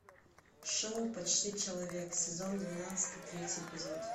шоу почти человек сезон двенадцатый третий эпизод